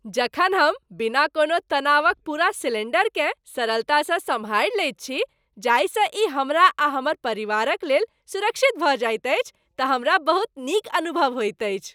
जखन हम बिना कोनो तनावक पूरा सिलेंडरकेँ सरलतासँ सम्हारि लैत छी जाहिसँ ई हमरा आ हमर परिवारक लेल सुरक्षित भऽ जाइत अछि तऽ हमरा बहुत नीक अनुभव होइत अछि।